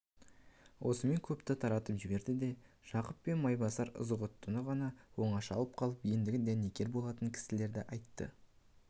осымен көпті таратып жіберді де жақып пен майбасар ызғұттыны ғана оңаша алып қалып ендігі дәнекер болатын кісілерді айтты